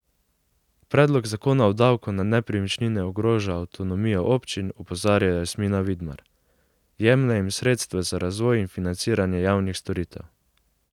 Predlog zakona o davku na nepremičnine ogroža avtonomijo občin, opozarja Jasmina Vidmar: 'Jemlje jim sredstva za razvoj in financiranje javnih storitev.